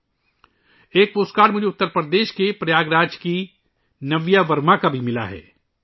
میرے پاس اتر پردیش کے پریاگ راج کی نویا ورما کا پوسٹ کارڈ بھی ہے